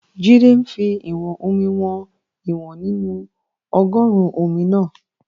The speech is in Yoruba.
Jídé ń fi ìwọ̀n-omi wọn ìwọ̀n nínú ọgọ́ruun omi náà